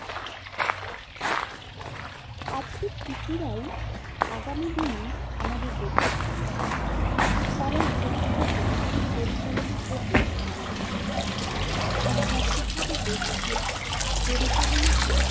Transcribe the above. আজকের শিশুরাই আগামী দিনে আমাদের দেশের ভবিষ্যত। তারাই ভবিষ্যতে পরিচালনা করবে আমাদের দেশকে। আর সঠিক ভাবে দেশকে পরিচালনা করে